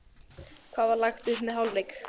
Hvað var lagt upp með í hálfleik?